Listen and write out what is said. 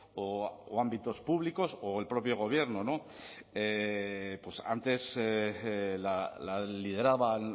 o ámbitos públicos o el propio gobierno antes la lideraban